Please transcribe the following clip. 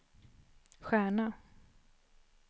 stjärna